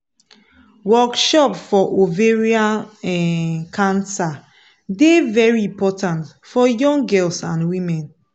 workshop for ovarian um cancer dey very important for young girls and women